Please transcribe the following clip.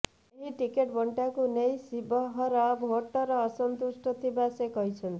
ଏହି ଟିକେଟ ବଣ୍ଟାକୁ ନେଇ ଶିବହର ଭୋଟର ଅସନ୍ତୁଷ୍ଟ ଥିବା ସେ କହିଛନ୍ତି